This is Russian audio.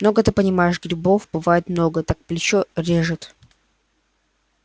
много ты понимаешь грибов бывает много так плечо режет